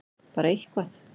Bara eitthvað!!!